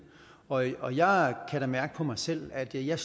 og jeg og jeg kan da mærke på mig selv at jeg